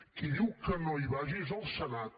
qui diu que no hi vagi és el senat